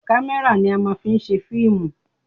Kámẹ́rà ni a máa ń fi ń ṣe fíìmù